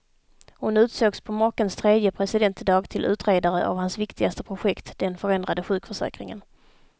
Hon utsågs på makens tredje presidentdag till utredare av hans viktigaste projekt, den förändrade sjukförsäkringen.